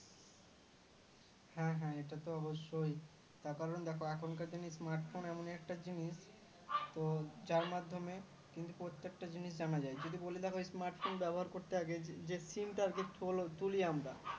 হ্যাঁ হ্যাঁ এটা তো অবশ্যই তার কারণ দেখো এখনকার দিনে Smartphone এমন একটা জিনিস ত যার মাধ্যমে কিন্তু প্রত্যেকটা জিনিস জানা যায় যদি বলি দেখো smart phone ব্যবহার করতে আগে যে Sim টা আর কি তুলি আমরা